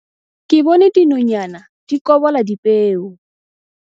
Ke bone dinonyana di kobola dipeo.